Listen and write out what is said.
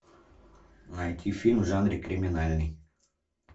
найти фильм в жанре криминальный